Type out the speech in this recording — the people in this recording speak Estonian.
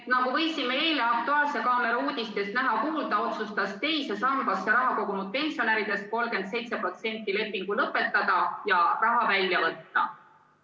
Nagu võisime eile "Aktuaalse kaamera" uudistest näha ja kuulda, otsustas teise sambasse raha kogunud pensionäridest 37% lepingu lõpetada ja raha välja võtta.